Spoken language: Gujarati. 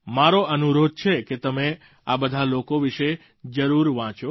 મારો અનુરોધ છે કે તમે આ બધાં લોકો વિશે જરૂર વાંચો